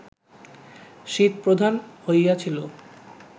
শীতপ্রধান হইয়াছিল